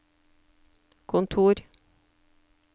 kontor